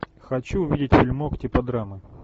хочу увидеть фильмок типа драмы